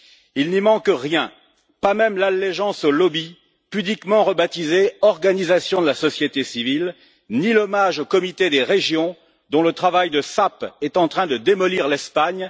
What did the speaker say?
Il n'y manque rien, pas même l'allégeance aux lobbies, pudiquement rebaptisés organisations de la société civile, ni l'hommage au Comité des régions, dont le travail de sape est en train de démolir l'Espagne.